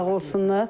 Sağ olsunlar.